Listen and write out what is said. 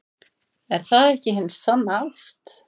Er það ekki hin sanna ást?